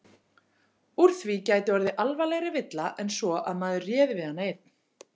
Úr því gæti orðið alvarlegri villa en svo að maður réði við hana einn.